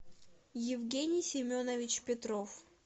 евгений семенович петров